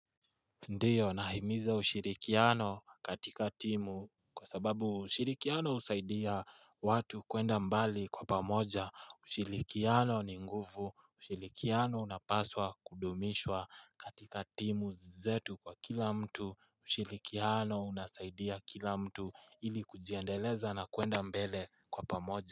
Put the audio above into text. Ndiyo nahimiza ushirikiano katika timu kwa sababu ushirikiano husaidia watu kuenda mbali kwa pamoja ushirikiano ni nguvu ushirikiano unapaswa kudumishwa katika timu zetu kwa kila mtu ushirikiano unasaidia kila mtu ili kujiendeleza na kuenda mbele kwa pamoja.